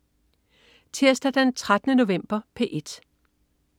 Tirsdag den 13. november - P1: